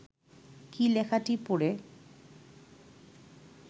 কী লেখাটি পড়ে